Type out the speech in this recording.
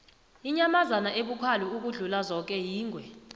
inyamazana ebukhali ukudlula zoke yingwe